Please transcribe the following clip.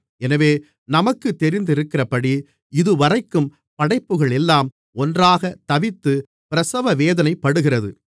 எனவே நமக்குத் தெரிந்திருக்கிறபடி இதுவரைக்கும் படைப்புகள் எல்லாம் ஒன்றாகத் தவித்துப் பிரசவவேதனைப்படுகிறது